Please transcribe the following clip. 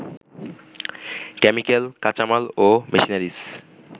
chemical, কাঁচামাল ও machineries